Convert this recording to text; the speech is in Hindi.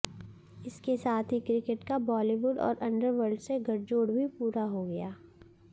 इसके साथ ही क्रिकेट का बॉलीवुड और अंडरवर्ल्ड से गठजोड़ भी पूरा हो गया